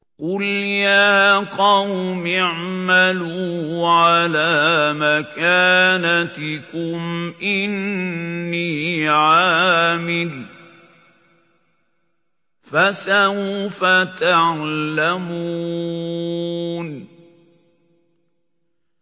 قُلْ يَا قَوْمِ اعْمَلُوا عَلَىٰ مَكَانَتِكُمْ إِنِّي عَامِلٌ ۖ فَسَوْفَ تَعْلَمُونَ